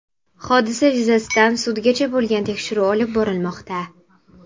Hodisa yuzasidan sudgacha bo‘lgan tekshiruv olib borilmoqda.